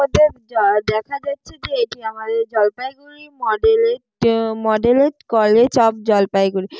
যা দেখা যাচ্ছে যে এটি আমাদের জলপাইগুড়ি মডেল-এর মডেল কলেজ অফ জলপাইগুড়ি ।